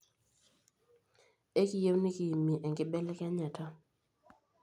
Ekiiyie nikiimie enkibelekenyata.